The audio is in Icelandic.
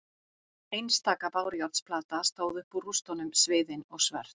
Einstaka bárujárnsplata stóð upp úr rústunum sviðin og svört.